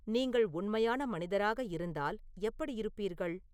நீங்கள் உண்மையான மனிதராக இருந்தால் எப்படி இருப்பீர்கள்